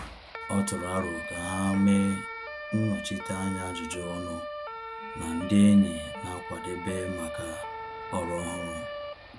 Ọ tụrụ aro ka ha mee nnọchiteanya ajụjụ ọnụ na ndị enyi na-akwadebe maka ọrụ ọhụrụ.